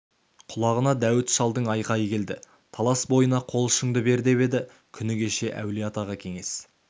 құлағына дәуіт шалдың айқайы келді талас бойына қол ұшыңды бер деп еді күні кеше әулиеатаға кеңес